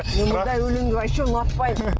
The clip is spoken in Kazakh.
мен мұндай өленді вообще ұнатпаймын